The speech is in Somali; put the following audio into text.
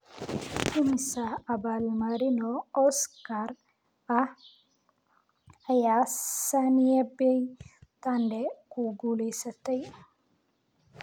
imisa abaal marino oscar ah ayaa sanaipei tande ku guulaystay